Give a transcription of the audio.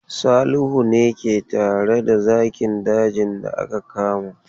Salihu ne ke tare da zakin dajin da aka kama.